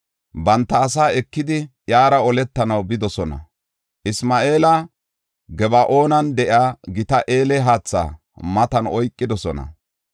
Banta asaa ekidi, iyara oletanaw bidosona; Isma7eela Gaba7oonan de7iya gita eele haatha matan oykidosona.